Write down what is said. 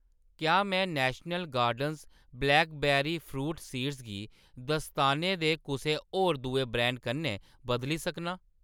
क्या में national gardens blackberry fruit seeds गी दस्ताने दे कुसै होर दुए ब्रांड कन्नै बदली सकनां ?